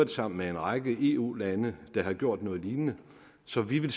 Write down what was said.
sammen med en række eu lande der har gjort noget lignende så vi vil